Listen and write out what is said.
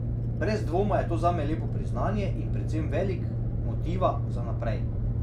Brez dvoma je to zame lepo priznanje in predvsem velik motiva za naprej.